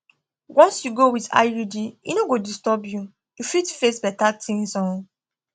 once you go with iud e no go disturb you you fit face better things um